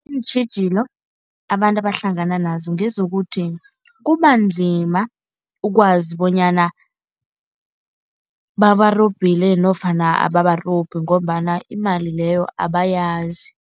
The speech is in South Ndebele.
Iintjhijilo abantu abahlangana nazo ngezokuthi kubanzima ukwazi bonyana babarobhile nofana ababarobhi ngombana imali leyo abayazi.